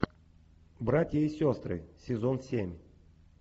братья и сестры сезон семь